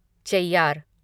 Cheyyar